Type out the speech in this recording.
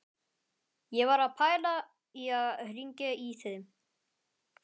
Ég var að pæla í að hringja í þig.